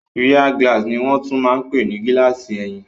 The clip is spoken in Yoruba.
Rear glass ní wọ́n tún máa n pè ní gílààsì ẹ̀yìn